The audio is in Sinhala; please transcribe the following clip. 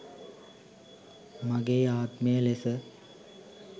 මගේ ආත්මය ලෙස